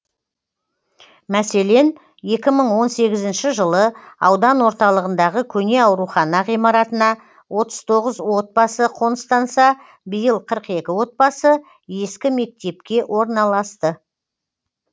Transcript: мәселен екі мың он сегізінші жылы аудан орталығындағы көне аурухана ғимаратына отыз тоғыз отбасы қоныстанса биыл қырық екі отбасы ескі мектепке орналасты